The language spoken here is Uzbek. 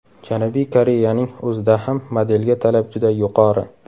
Janubiy Koreyaning o‘zida ham modelga talab juda yuqori.